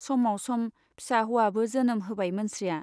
समाव सम फिसा हौवाबो जोनोम होबाय मोनस्रिया।